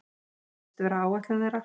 Það virðist vera áætlun þeirra